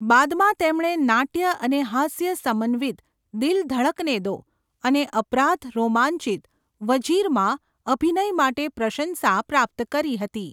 બાદમાં તેમણે નાટ્ય અને હાસ્ય સમન્વિત 'દિલ ધડકને દો' અને અપરાધ રોમાંચિત 'વજીર'માં અભિનય માટે પ્રશંસા પ્રાપ્ત કરી હતી.